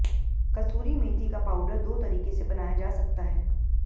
कसूरी मेथी का पाउडर दो तरीके से बनाया जा सकता है